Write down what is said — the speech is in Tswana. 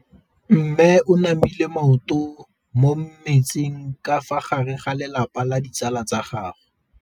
Mme o namile maoto mo mmetseng ka fa gare ga lelapa le ditsala tsa gagwe.